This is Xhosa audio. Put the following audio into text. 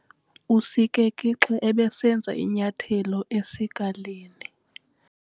Usikeke xa ebesenza inyathelo esikalini.